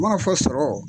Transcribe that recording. Mana fɔ sɔrɔ